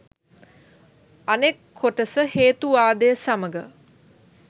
අනෙක් කොටස හේතුවාදය සමඟ